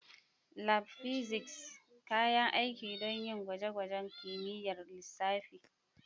Lab Physics: Kayan aiki don yin gwaje-gwajen kimiyyar lissafi.